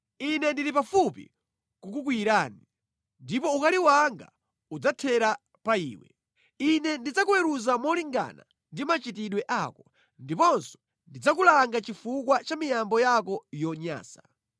Ine ndili pafupi kukukwiyirani, ndipo ukali wanga udzathera pa iwe; Ine ndidzakuweruza molingana ndi machitidwe ako ndiponso ndidzakulanga chifukwa cha miyambo yako yonyansa.